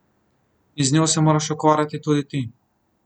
In z njo se moraš ukvarjati tudi ti.